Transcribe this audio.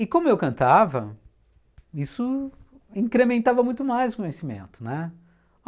E como eu cantava, isso incrementava muito mais o conhecimento, né?